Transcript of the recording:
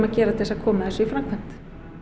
gera til að koma þessu í framkvæmd